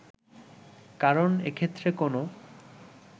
কারণ এক্ষেত্রে কোনো